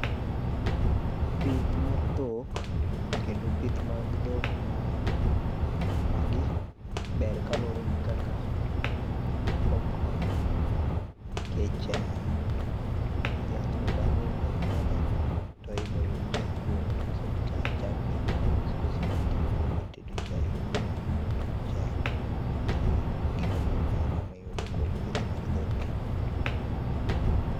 Pith mar dhok kendo pith mag dhok ma, magi ber kaluore gi kaka okonyo nikech dhiang ni bang'e ibiro nyiedhe to ibiro yud chak kuome. koseyud chak to chagni ibiro us koso inyal tii go e tedo chai koro chak en gima duong ahiny amiyudo kuom pith mar dhok